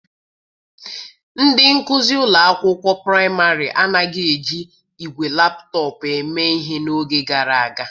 Ndị nkuzi ụlọ akwụkwọ praịmarị anaghị eji igwe laptọpụ eme ihe n'oge gara aga.